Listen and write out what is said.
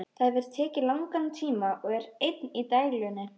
Það hefur tekið langan tíma og er enn í deiglunni.